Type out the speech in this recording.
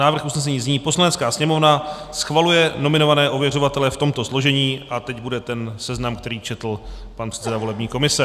Návrh usnesení zní: "Poslanecká sněmovna schvaluje nominované ověřovatele v tomto složení..." a teď bude ten seznam, který četl pan předseda volební komise.